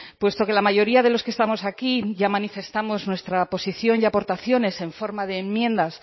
puesto que la mayoría de los que estamos aquí ya manifestamos nuestra posición y aportaciones en forma de enmiendas